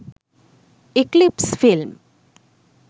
eclipse film